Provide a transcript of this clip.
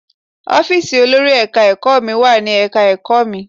Ọ́fíìsì olórí Ẹ̀ka-ẹ̀kọ́ mi wà ní Ẹ̀ka-ẹ̀kọ́ mi.